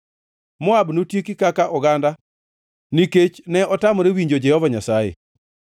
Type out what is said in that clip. Moab notieki kaka oganda nikech ne otamore winjo Jehova Nyasaye.